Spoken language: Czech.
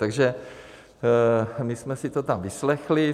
Takže my jsme si to tam vyslechli.